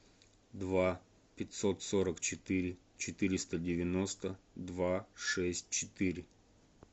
два пятьсот сорок четыре четыреста девяносто два шесть четыре